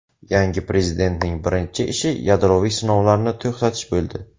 Yangi prezidentning birinchi ishi yadroviy sinovlarni to‘xtatish bo‘ldi.